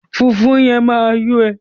Fùfú yẹn máa yó ẹ.